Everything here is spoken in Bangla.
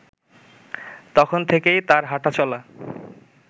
তখন থেকেই তার হাঁটা-চলা